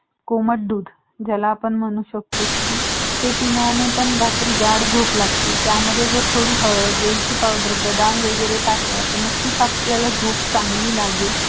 कोमट दूध ज्याला आपण म्हणू शकतो की ते पिल्याने पण गाढ झोप लागले त्यामध्ये जर थोडी हळद वेलची पावडर बदाम वैगरें टाकला तर नक्कीच आपल्याला झोप चांगली लागेल